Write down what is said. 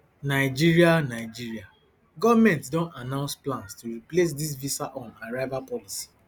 nigeria nigeria goment don announce plans to replace dia visa on arrival policy